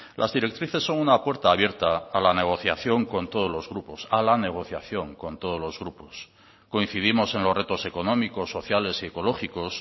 las directrices son una puerta abierta a la negociación con todos los grupos a la negociación con todos los grupos coincidimos en los retos económicos sociales y ecológicos